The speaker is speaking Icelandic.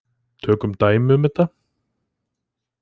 Tökum dæmi um þetta.